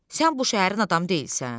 Sən bu şəhərin adamı deyilsən?